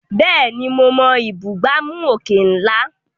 Bẹ́ẹ̀ni, mo mọ ìbúgbàmù òkè ńlá.